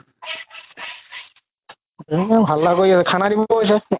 হাল্লা কৰি আছে খানা দিব হৈছে